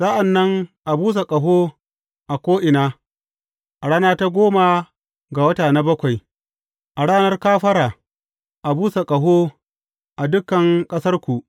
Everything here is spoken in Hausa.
Sa’an nan a busa ƙaho a ko’ina, a rana ta goma ga wata na bakwai; a Ranar Kafara, a busa ƙaho a dukan ƙasarku.